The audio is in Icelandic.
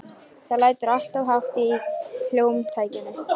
Það lætur alltof hátt í hljómtækjunum.